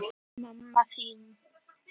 Smelltu hér til að sjá viðtalið úr þættinum